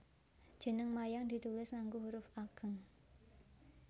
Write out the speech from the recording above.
Jeneng wayang ditulis ngangge huruf ageng